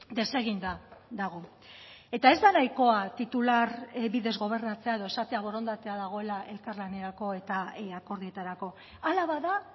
deseginda dago eta ez da nahikoa titular bidez gobernatzea edo esatea borondatea dagoela elkarlanerako eta akordioetarako hala bada